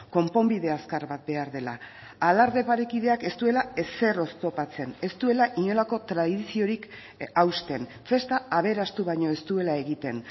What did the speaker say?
konponbide azkar bat behar dela alarde parekideak ez duela ezer oztopatzen ez duela inolako tradiziorik hausten festa aberastu baino ez duela egiten